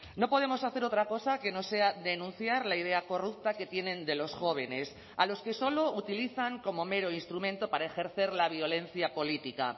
no podemos hacer otra cosa que no sea denunciar la idea corrupta que tienen de los jóvenes a los que solo utilizan como mero instrumento para ejercer la violencia política